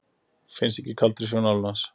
Hann finnst ekki í kaldari sjó Norðanlands.